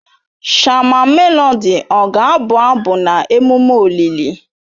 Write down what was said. Shama Melodị ọ ga-abụ abụ na emume olili?